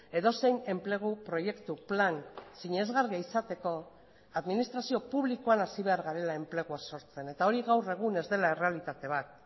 edozein enplegu proiektu plan sinesgarria izateko administrazio publikoan hasi behar garela enplegua sortzen eta hori gaur egun ez dela errealitate bat